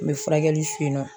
N bɛ furakɛli fe yen nɔ.